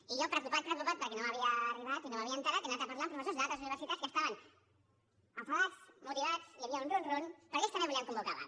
i jo preocupat preocupat perquè no m’havia arribat i no me n’havia assabentat he anat a parlar amb professors d’altres universitats que estaven enfadats motivats hi havia un rum rum perquè ells també volien convocar vaga